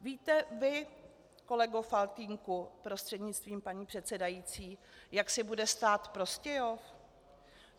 Víte vy, kolego Faltýnku prostřednictvím paní předsedající, jak si bude stát Prostějov?